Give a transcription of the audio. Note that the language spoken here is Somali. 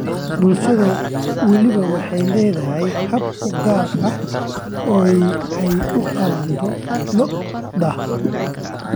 Bulsho waliba waxay leedahay hab u gaar ah oo ay u qalanto Lo�da.